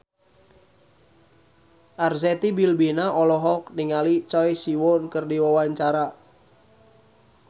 Arzetti Bilbina olohok ningali Choi Siwon keur diwawancara